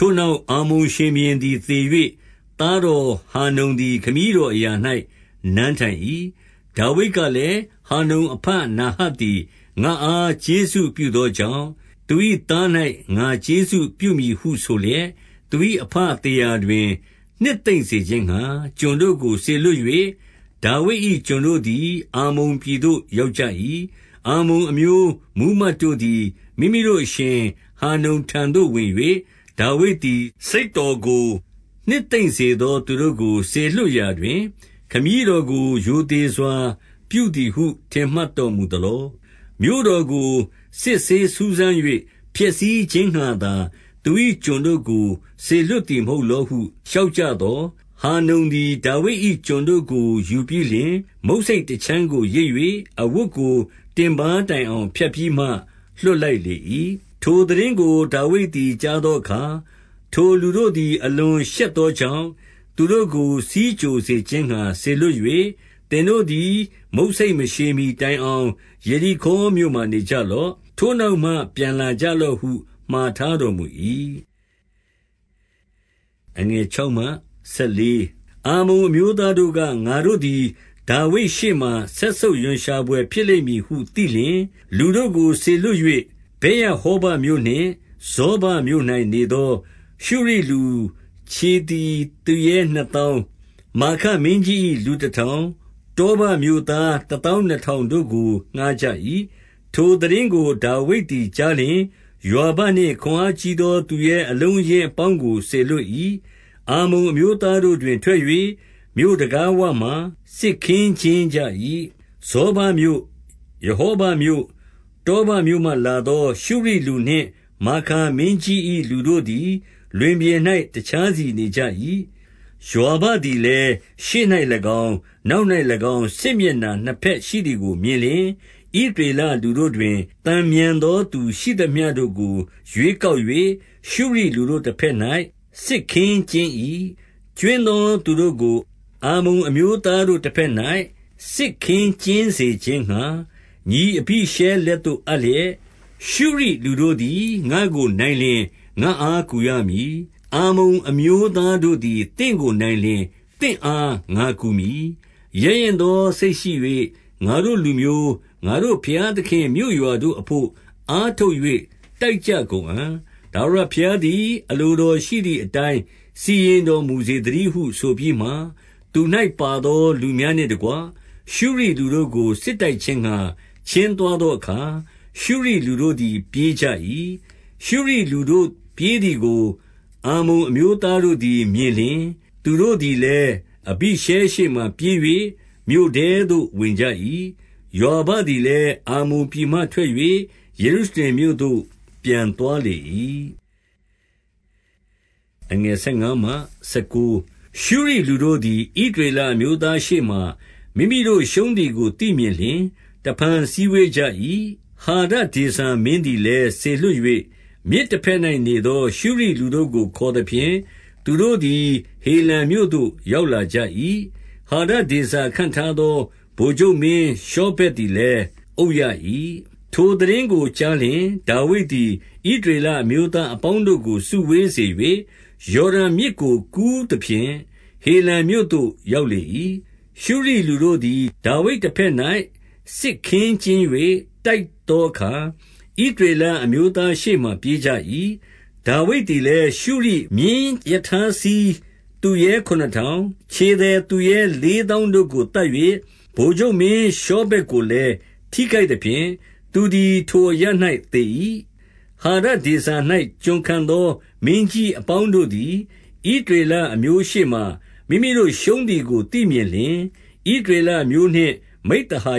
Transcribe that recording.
ထိုနောက် အမ္မုန်ရှင်ဘုရင်သည် သေ၍ သားတော်ဟာနုန်သည် ခမည်းတော်အရာ၌ နန်းထိုင်၏။ 2 ဒါဝိဒ်ကလည်း၊ ဟာနုန်အဘနာဟတ်သည် ငါ့အား ကျေးဇူးပြုသောကြောင့်၊ သူ၏သား၌ ကျေးဇူးပြုမည်ဟုဆိုလျက်၊ သူ၏အဘသေရာတွင် နှစ်သိမ့်စေခြင်းငှါ ကျွန်တို့ကို စေလွှတ်၍၊ ဒါဝိဒ်၏ကျွန်တို့သည် အမ္မုန်ပြည်သို့ရောက်ကြ၏။ 3 အမ္မုန်အမျိုး မှူးမတ်တို့သည် မိမိတို့အရှင် ဟာနုန်ထံသို့ဝင်၍၊ ဒါဝိဒ်သည် စိတ်တော်ကို နှစ်သိမ့်စေ သော သူတို့ကိုစေလွှတ်ရာတွင် ခမည်းတော်ကို ရိုသေစွာပြုသည်ဟု ထင်မှတ်တော်မူသလော။ မြို့တော်ကိုစစ်ဆေးစူစမ်း၍ ဖျက်ဆီးခြင်း ငှာသာသူ၏ကျွန်တို့ကိုစေလွှတ်သည် မဟုတ်လောဟု လျှောက်ကြ သော်။ 4 ဟာနုန်သည် ဒါဝိဒ်၏ကျွန်တို့ကို ယူပြီးလျှင်၊ မုတ်ဆိတ်တခြမ်းကိုရိတ်၍ အဝတ်ကိုတင်ပါးတိုင်အောင် ဖြတ်ပြီးမှ လွှတ်လိုက်လေ၏။ 5 ထိုသိတင်းကို ဒါဝိဒ်သည်ကြားသောအခါ၊ ထိုလူတို့သည် အလွန်ရှက်သောကြောင့် သူတို့ကို ဆီးကြိုစေခြင်းငှါ စေလွှတ်၍၊ သင်တို့သည် မုတ်ဆိတ်မရှည်မှီတိုင်အောင် ယေရိခေါမြို့မှာ နေကြလော့။ ထိုနောက်မှပြန်လာကြလော့ဟု မှာထားတော်မူ၏။ 6 အမ္မုန်အမျိုးသားတို့က၊ ငါတို့သည်ဒါဝိဒ်ရှေ့မှာ စက်ဆုပ်ရွံရှာဘွယ် ဖြစ်လိမ့်မည်ဟု သိလျှင်၊ လူကို စေလွှတ်၍ ဗက်ရဟောဘမြို့နှင့် ဇောဘမြို့၌နေသော ရှုရိလူခြေသည် သူရဲနှစ်သောင်း၊ မာခမင်းကြီး၏ လူ တထောင်၊ တောဘမြို့သား တသောင်းနှစ်ထောင်တို့ကို ငှားကြ၏။ 7 ထိုသိတင်းကို ဒါဝိဒ်သည်ကြားလျှင် ယွာဘနှင့် ခွန်အားကြီးသောသူရဲအလုံးအရင်းအပေါင်းကို စေလွှတ် ၏။ 8 အမ္မုန်အမျိုးသားတို့သည် ထွက်၍မြို့တံခါးဝမှာ စစ်ခင်းကျင်းကြ၏။ ဇောဘမြို့၊ ရဟောဘမြို့၊ တောဘ မြို့မှလာသော ရှုရိလူနှင့် မာခါမင်းကြီး၏ လူတို့သည် လွင်ပြင်၌ တခြားစီနေကြ၏။ 9 ယွာဘသည်လည်း၊ ရှေ့၌၎င်း၊ နောက်၌၎င်း စစ်မျက်နှာနှစ်ဘက်ရှိသည်ကိုမြင်လျှင်၊ ဣသရေလလူတို့ တွင် သန်မြန်သောသူရှိသမျှတို့ကို ရွေးကောက်၍ ရှုရိလူ တို့ တဘက်၌စစ်ခင်းကျင်း၏။ 10 ကြွင်းသောသူတို့ကို အမ္မုန်အမျိုးသားတို့တဘက်၌ စစ်ခင်းကျင်း စေခြင်းငှါ၊ ညီအဘိရှဲလက်သို့ အပ်လျက်၊ 11 ရှုရိလူတို့သည် ငါ့ကိုနိုင်လျှင် ငါအားကူရမည်။ အမ္မုန်အမျိုးသားတို့သည် သင့်ကိုနိုင်လျှင် သင့်အား ငါကူမည်။ 12 ရဲရင့်သောစိတ်ရှိ၍ ငါတို့လူမျိုး၊ ငါတို့ဘုရားသခင့်မြို့ရွာတို့အဘို့ အားထုတ်၍ တိုက်ကြကုန်အံ့။ ထာဝရဘုရားသည် အလိုတော်ရှိသည် အတိုင်းစီရင်တော် မူစေသတည်းဟု ဆိုပြီးမှ၊ 13 သူ၌ပါသောလူများနှင့်တကွ ရှုရိလူတို့ကို စစ်တိုက်ခြင်းငှါ ချဉ်းသွားသောအခါ၊ ရှုရိလူတို့သည် ပြေးကြ၏။ 14 ရှုရိလူတို့ပြေးသည်ကို အမ္မုန်အမျိုးသားတို့သည် မြင်လျှင်၊ သူတို့သည်လည်း အဘိရှဲရှေ့မှာပြေး၍ မြို့ထဲသို့ ဝင်ကြ၏။ ယွာဘသည်လည်း အမ္မုန်ပြည်မှ ထွက်၍ ယေရုရှလင်မြို့သို့ ပြန်သွားလေ၏။ 15 ရှုရိလူတို့သည် ဣသရေလအမျိုးသားရှေ့မှာ မိမိတို့ရှုံးသည်ကို သိမြင်လျှင် တဖန်စည်းဝေးကြ၏။ 16 ဟာဒဒေဇာမင်းသည်လည်း စေလွှတ်၍၊ မြစ်တဘက်၌နေသော ရှုရိလူတို့ကိုခေါ်သဖြင့်၊ သူတို့သည် ဟေလံမြို့သို့ရောက်လာကြ၏။ ဟာဒဒေဇာခန့်ထားသော ဗိုလ်ချုပ်မင်းရှောဗက်သည်လည်း အုပ်ရ၏။ 17 ထိုသိတင်းကိုကြားလျှင်၊ ဒါဝိဒ်သည် ဣသရေလအမျိုးသားအပေါင်းတို့ကို စုဝေးစေ၍၊ ယော်ဒန်မြစ် ကို ကူးသဖြင့် ဟေလံမြို့သို့ ရောက်လေ၏။ ရှုရိလူတို့သည် ဒါဝိဒ်တဘက်၌ စစ်ခင်းကျင်း၍ တိုက်သောအခါ၊ 18 ဣသရေလအမျိုးသားရှေ့မှာ ပြေးကြ၏။ ဒါဝိဒ်သည်လည်း ရှုရိမြင်းရထားစီးသူရဲခုနစ်ထောင်၊ ခြေသည် သူရဲလေးသောင်းတို့ကို သတ်၍၊ ဗိုလ်ချုပ်မင်းရှောဗက် ကိုလည်း ထိခိုက်သဖြင့် သူသည် ထိုအရပ်၌ သေ၏။ 19 ဟာဒဒေဇာ၌ ကျွန်ခံသောမင်းကြီးအပေါင်းတို့သည် ဣသရေလအမျိုးနှင့် မိဿဟာ